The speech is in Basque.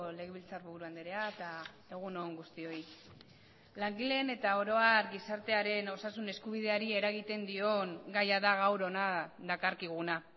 legebiltzarburu andrea eta egun on guztioi langileen eta oro har gizartearen osasun eskubideari eragiten dion gaia da gaur hona dakarkiguna